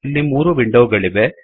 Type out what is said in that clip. ಇಲ್ಲಿ 3 ವಿಂಡೋಗಳಿವೆ